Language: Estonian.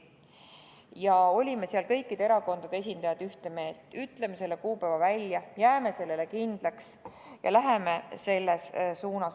Ja me olime seal kõikide erakondade esindajatena ühte meelt: ütleme selle kuupäeva välja, jääme sellele kindlaks ja läheme selles suunas.